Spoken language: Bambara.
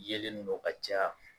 Yelen ninnu o ka ca